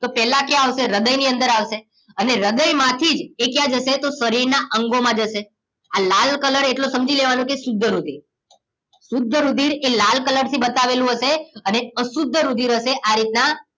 તો પેલા ક્યાં આવશે હ્રદય ની અંદર આવશે અને હ્રદય માંથી એ ક્યાં જશે તો શરીર ના અંગો માં જશે. આ લાલ કલર એટલો સમજી લેવાનું કે શુદ્ધ રુધિર શુદ્ધ રુધિર એ લાલ કલર થીબતાવેલું હશે અને અશુદ્ધ રુધિર હશે આ રીતના